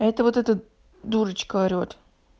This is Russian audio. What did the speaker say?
это вот это дурочка орёт